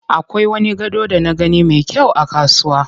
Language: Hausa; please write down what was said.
Akwai wani gado da na gani me kyau a kasuwa.